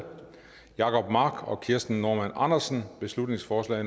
jacob mark og kirsten normann andersen beslutningsforslag